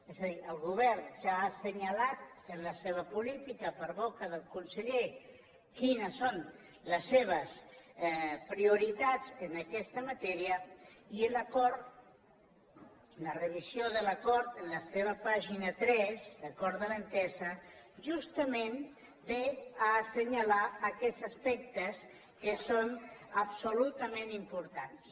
és a dir el govern ja ha assenyalat en la seva política per boca del conseller quines són les seves prioritats en aquesta matèria i l’acord la revisió de l’acord en la seva pàgina tres l’acord de l’entesa justament ve a assenyalar aquests aspectes que són absolutament importants